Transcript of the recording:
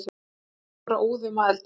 Líkaminn var óðum að eldast.